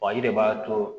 i de b'a to